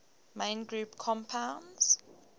main group compounds